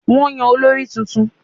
Wọ́n yàn olórí tuntun